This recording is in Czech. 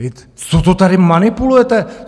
Co to tady manipulujete?